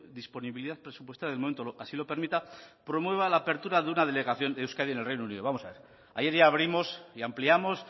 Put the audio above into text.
disponibilidad presupuestaria del momento así lo permita promueva la apertura de una delegación de euskadi en el reino unido vamos a ver ayer ya abrimos y ampliamos